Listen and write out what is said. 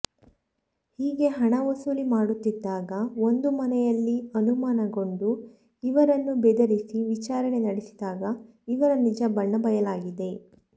ಹೀಗೆ ಹಣ ವಸೂಲಿ ಮಾಡುತ್ತಿದ್ದಾಗ ಒಂದು ಮನೆಯಲ್ಲಿ ಅನುಮಾನಗೊಂಡು ಇವರನ್ನು ಬೆದರಿಸಿ ವಿಚಾರಣೆ ನಡೆಸಿದಾಗ ಇವರ ನಿಜ ಬಣ್ಣ ಬಯಲಾಗಿದೆ